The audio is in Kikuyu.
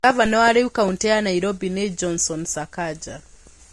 Ngavana wa rĩu kaũntĩ ya Nairobi nĩ Johnson Sakaja.